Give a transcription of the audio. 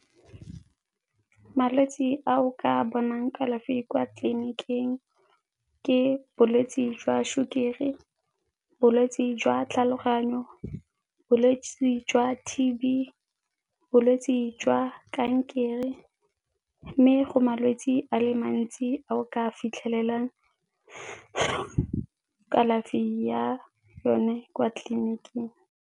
Malwetse ao ka bonang kalafi kwa tleliniking ke bolwetse jwa sukiri, bolwetse jwa tlhaloganyo, bolwetse jwa T_B, bolwetse jwa kankere. Mme go malwetse a le mantsi ao ka fitlhelelang kalafi ya yone kwa tleliniking.